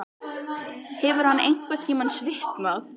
Hefur hann einhverntímann svitnað?